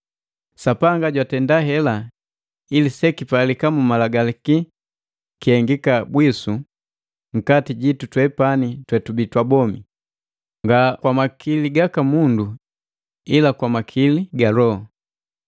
Sapanga jwatenda hela ili sekipalika mu Malagalaki kihengika bwisu nkati jitu twepani twetubi twabomi, nga kwa makili gaka mundu ila kwa makili ga Loho.